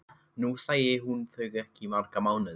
Nú sæi hún þau ekki í marga mánuði.